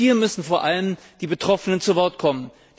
Hier müssen vor allem die Betroffenen zu Wort kommen.